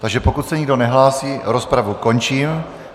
Takže pokud se nikdo nehlásí, rozpravu končím.